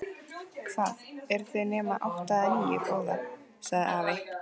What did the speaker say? Hvað, eru þau nema átta eða níu, góða? sagði afi.